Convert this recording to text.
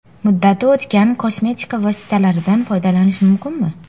Muddati o‘tgan kosmetika vositalaridan foydalanish mumkinmi?.